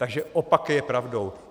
Takže opak je pravdou.